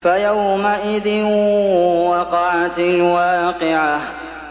فَيَوْمَئِذٍ وَقَعَتِ الْوَاقِعَةُ